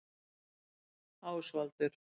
Ásvaldur